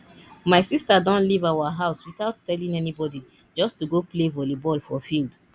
my sister don leave our house without telling anybody just to go play volley ball for field